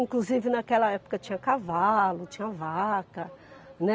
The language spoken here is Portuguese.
Inclusive naquela época tinha cavalo, tinha vaca.